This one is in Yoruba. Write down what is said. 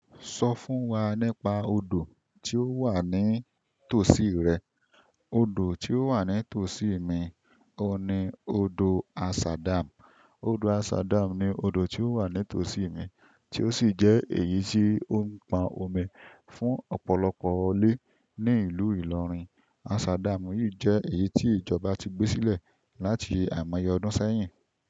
Sọ fún wa nípa odò tí ó wà ní tòsí rẹ. Odò tí ó wà ní tòsí mi ni odò asa dam. Odò asa dam ni odò tí ó wà ní tòsí mi, tí ó sì jẹ́ èyí tí ó ń pon omi fún ọ̀pọ̀lọpọ̀ ilé ní ìlú Ilorin. Ashadam yìí jẹ́ èyí tí ìjọba ti gbé sílẹ̀ láti àìmọye ọdún sẹ́yìn.